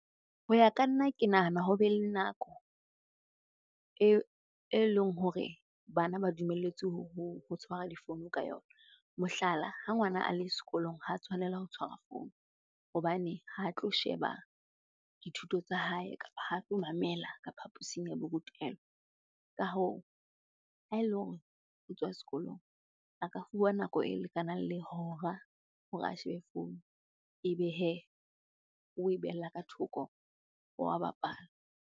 Ho ya ka nna ke nahana ho be le nako eleng hore bana ba dumelletswe ho tshwara difounu ka yona. Mohlala, ha ngwana a le sekolong ha tshwanela ho tshwara founu hobane ha tlo sheba dithuto tsa hae kapa ha tlo mamela ka phapusing ya borutelo. Ka hoo, ha ele hore o tswa sekolong aka fuwa nako e lekanang le hora hore a shebe founu. Ebe hee, o e behella ka thoko wa bapala.